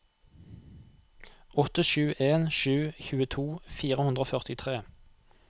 åtte sju en sju tjueto fire hundre og førtitre